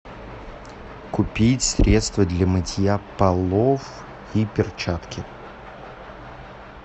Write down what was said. купить средство для мытья полов и перчатки